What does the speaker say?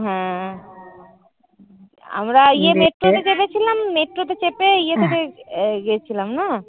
হম আমরা থেকে দেখেছিলাম মেট্রো তে চেপে ইয়ে থেকে গেছিলাম না?